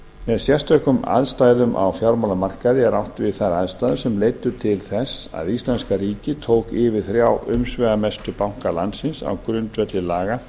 með sérstökum aðstæðum á fjármálamarkaði er átt við þær aðstæður sem leiddu til þess að íslenska ríkið tók yfir þrjá umsvifamestu banka landsins á grundvelli laga